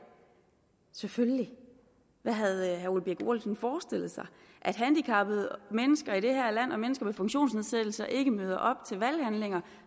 selvfølgelig hvad havde herre ole birk olesen forestillet sig at handicappede mennesker i det her land og mennesker med funktionsnedsættelse ikke møder op til valghandlingen